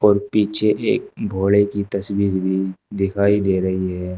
पीछे एक भोड़े की तस्वीर भी दिखाई दे रही है।